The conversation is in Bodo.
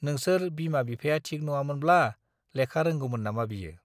नोंसोर बिमा बिफाया थिक नङामोनब्ला लेखा रोंगौमोन नामा बियो ?